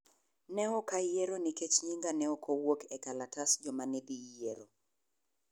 Ne ok ayiero nikech nyinga ne ok owuok e kalatas joma ne dhi yiero.